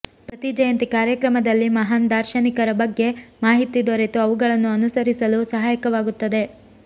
ಪ್ರತಿ ಜಯಂತಿ ಕಾರ್ಯಕ್ರಮದಲ್ಲಿ ಮಹಾನ್ ದಾರ್ಶನಿಕರ ಬಗ್ಗೆ ಮಾಹಿತಿ ದೊರೆತು ಅವುಗಳನ್ನು ಅನುಸರಿಸಲು ಸಹಾಯಕವಾಗುತ್ತದೆ